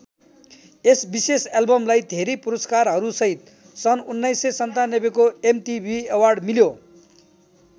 यस विशेष एल्बमलाई धेरै पुरस्कारहरूसहित सन् १९९७ को एमटीभी अवार्ड मिल्यो।